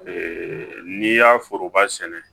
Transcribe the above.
n'i y'a foroba sɛnɛ